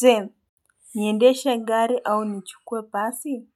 Je, niendeshe gari au nichukue pasi?